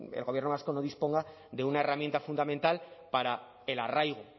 el gobierno vasco no disponga de una herramienta fundamental para el arraigo